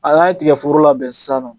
An'an ye tigɛforo labɛn san nɔ